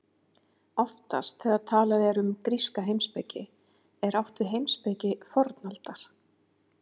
Oftast þegar talað er um gríska heimspeki er átt við heimspeki fornaldar.